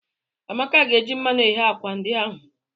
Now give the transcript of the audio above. Amaka ga-eji mmanụ eghe akwa ndi ahụ.